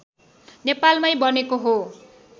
नेपालमै बनेको हो